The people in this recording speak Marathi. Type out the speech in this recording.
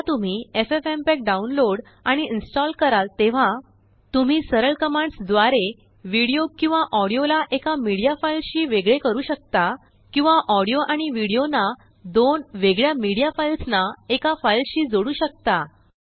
जेव्हा तुम्हीffmpeg डाउनलोड आणिइंस्टाल कराल तेव्हा तुम्ही सरळकमांड्स द्वारेविडियो किंवाऑडियोलाएकामीडिया फाइलशी वेगळे करू शकता किंवा ऑडियो आणिविडियोनादोन वेगळ्यामीडिया फाइल्सनाएकाफाइलशी जोडू शकता